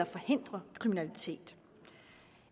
forhindre kriminalitet